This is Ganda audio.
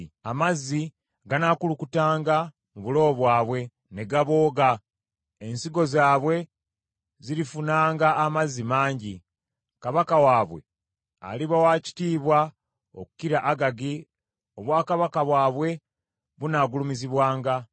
Amazzi ganaakulukutanga mu bulobo bwabwe; ne gabooga ensigo zaabwe zirifunanga amazzi mangi. “Kabaka waabwe aliba wa kitiibwa okukira Agagi obwakabaka bwabwe bunaagulumizibwanga.